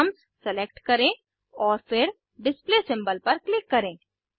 atoms select करें और फिर डिस्प्ले सिम्बोल पर क्लिक करें